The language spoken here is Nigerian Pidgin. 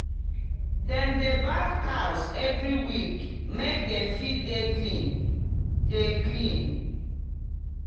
dem dey baff cows every week make dem fit dey clean dey clean